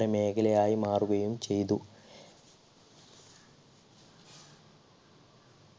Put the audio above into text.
മേഖലയായി മാറുകയും ചെയ്തു